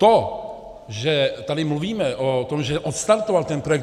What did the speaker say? To, že tady mluvíme o tom, že odstartoval ten projekt.